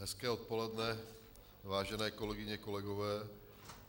Hezké odpoledne, vážené kolegyně, kolegové.